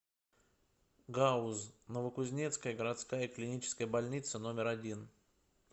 гауз новокузнецкая городская клиническая больница номер один